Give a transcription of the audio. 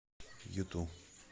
юту